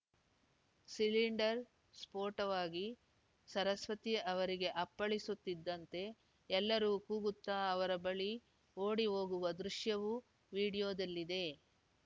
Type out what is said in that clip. cylinder ಸ್ಫೋಟವಾಗಿ ಸರಸ್ವತಿ ಅವರಿಗೆ ಅಪ್ಪಳಿಸುತ್ತಿದ್ದಂತೆ ಎಲ್ಲರೂ ಕೂಗುತ್ತಾ ಅವರ ಬಳಿ ಓಡಿ ಹೋಗುವ ದೃಶ್ಯವೂ ವೀಡಿಯೋದಲ್ಲಿದೆ